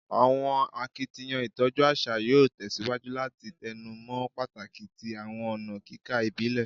Awọn akitiyan itọju aṣa yoo tẹsiwaju lati tẹnumọ pataki ti awọn ọna kika ibile